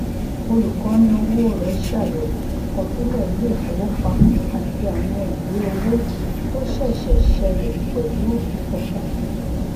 olùkóni owó rẹ ṣàyẹwò àkọsílẹ iléifowopamọ àti àwọn ìwé owó tó ṣẹṣẹ ṣẹlẹ pẹlú ìfọkànsìn